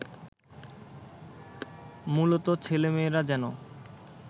মূলত ছেলেমেয়েরা যেন